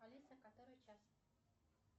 алиса который час